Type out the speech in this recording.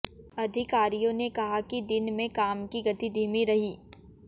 अधिकारियों ने कहा कि दिन में काम की गति धीमी रही